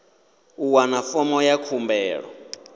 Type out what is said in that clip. u wana fomo ya khumbelo